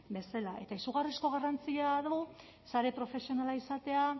bezala eta izugarrizko garrantzia du sare profesionala izateak